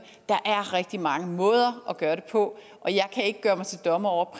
der er rigtig mange måder at gøre det på og jeg kan ikke gøre mig til dommer over